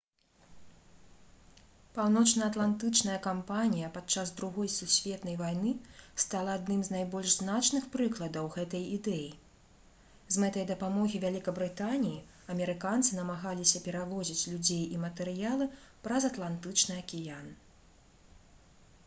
паўночнаатлантычная кампанія падчас другой сусветнай вайны стала адным з найбольш значных прыкладаў гэтай ідэі з мэтай дапамогі вялікабрытаніі амерыканцы намагаліся перавозіць людзей і матэрыялы праз атлантычны акіян